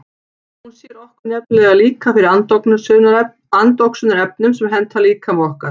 Hún sér okkur nefnilega líka fyrir andoxunarefnum sem henta líkama okkar.